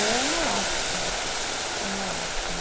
É uma lástima. É uma lástima